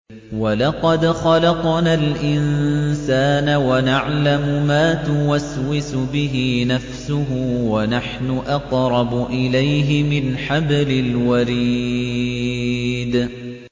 وَلَقَدْ خَلَقْنَا الْإِنسَانَ وَنَعْلَمُ مَا تُوَسْوِسُ بِهِ نَفْسُهُ ۖ وَنَحْنُ أَقْرَبُ إِلَيْهِ مِنْ حَبْلِ الْوَرِيدِ